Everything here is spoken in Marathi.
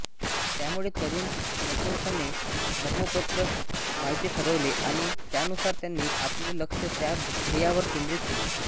त्यामुळे तरूण निकोलसने धर्मोपदेशक व्हायचे ठरवले आणि त्यानुसार त्यांनी आपले लक्ष त्या ध्येयावर केंद्रित केले